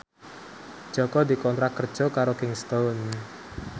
Jaka dikontrak kerja karo Kingston